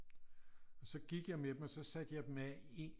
Så gik jeg med dem og så satte jeg dem af